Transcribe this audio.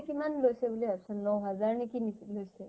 কিমান লৈছে বুলি ভাবছ ? ন হাজাৰ নে কি কিনি লৈছে ।